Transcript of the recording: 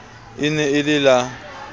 e ne e le la